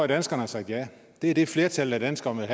danskerne sagt ja det er det flertallet af danskerne